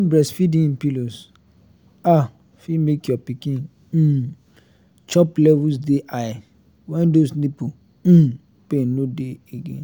using breastfeeding pillows ah fit make your pikin um chop levels dey high when those nipple um pain no dey again